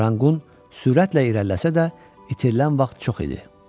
Ranqqun sürətlə irəliləsə də, itirilən vaxt çox idi.